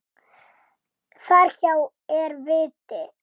Þar hjá er viti.